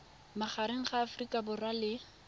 magareng ga aforika borwa le